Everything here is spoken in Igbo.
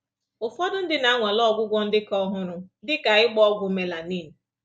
Ụfọdụ ndị na-anwale ọgwụgwọ ndị ka ọhụrụ, dị ka ịgba ọgwụ melanin.